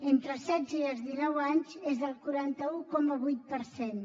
entre els setze i els dinou anys és del quaranta un coma vuit per cent